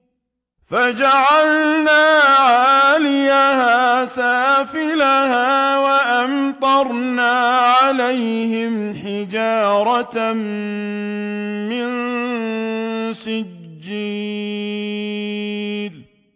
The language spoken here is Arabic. فَجَعَلْنَا عَالِيَهَا سَافِلَهَا وَأَمْطَرْنَا عَلَيْهِمْ حِجَارَةً مِّن سِجِّيلٍ